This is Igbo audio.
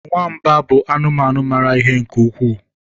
nwamba bụ anụmanụ maara ihe nke ukwuu